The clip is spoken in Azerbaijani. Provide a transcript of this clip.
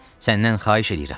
Səndən xahiş eləyirəm.